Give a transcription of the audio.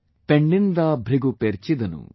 Penninda broohu perchidanu